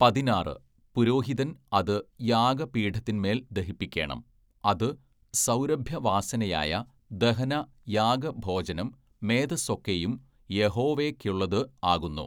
പതിനാറ്, പുരോഹിതൻ അത് യാഗപീഠത്തിന്മേൽ ദഹിപ്പിക്കേണം അതു സൗരഭ്യവാസനയായ ദഹന യാഗ ഭോജനം മേദസ്സൊക്കെയും യഹോവേക്കുള്ളതു ആകുന്നു.